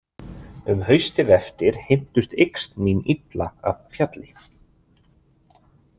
Um haustið eftir heimtust yxn mín illa af fjalli.